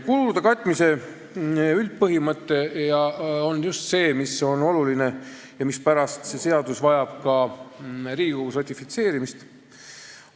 Kulude katmise üldpõhimõte on just see oluline asi, mispärast vajab see seadus ka Riigikogus ratifitseerimist.